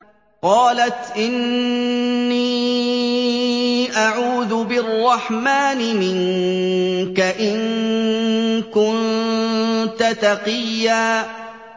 قَالَتْ إِنِّي أَعُوذُ بِالرَّحْمَٰنِ مِنكَ إِن كُنتَ تَقِيًّا